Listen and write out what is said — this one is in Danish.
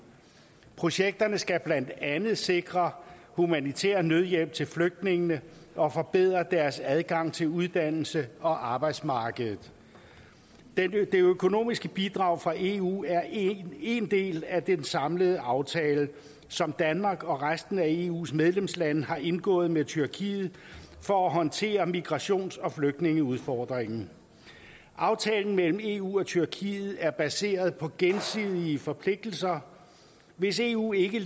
projekterne skal blandt andet sikre humanitær nødhjælp til flygtningene og forbedre deres adgang til uddannelse og arbejdsmarked det økonomiske bidrag fra eu er en del af den samlede aftale som danmark og resten af eus medlemslande har indgået med tyrkiet for at håndtere migrations og flygtningeudfordringen aftalen mellem eu og tyrkiet er baseret på gensidige forpligtelser hvis eu ikke